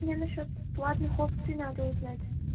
мне на счёт платных опций надо узнать